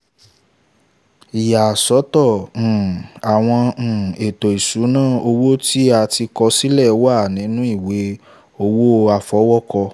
ìyàsọ́tọ̀ um àwọn um ètò ìṣúná owó tí a ti kọ sílẹ̀ wà nínu ìwé owó àfọwọ́kọ